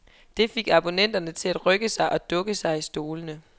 Der fik abonnenterne til at rykke sig og dukke sig i stolene.